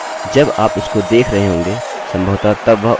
अतः उसको देखिये वह अधिक विशिष्ट होगा